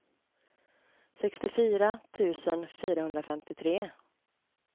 sextiofyra tusen fyrahundrafemtiotre